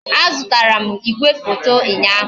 A zụtara m igwefoto ụnyaahụ